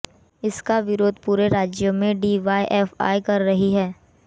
इसका विरोध पूरे राज्य में डीवाइएफआइ कर रही है